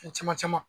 Fɛn caman caman